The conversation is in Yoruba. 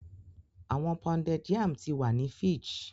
Awọn pounded yam ti wa ni fidge